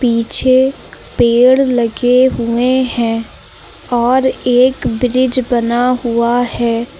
पीछे पेड़ लगे हुए हैं और एक ब्रिज बना हुआ है।